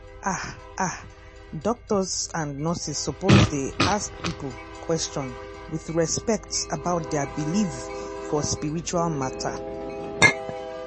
ah ah doctors and nurses suppose dey ask people question with respect about dia believe for spiritual matter.